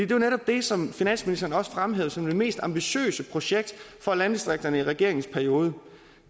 jo netop det som finansministeren også fremhævede som det mest ambitiøse projekt for landdistrikterne i regeringens periode